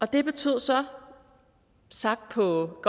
det betød så sagt på